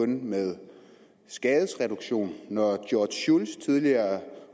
med skadesreduktion når george shultz tidligere